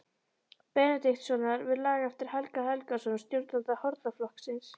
Benediktssonar við lag eftir Helga Helgason, stjórnanda hornaflokksins.